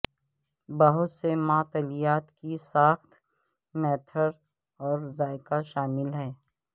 بہت سے معطلیات کی ساخت میٹھیر اور ذائقہ شامل ہیں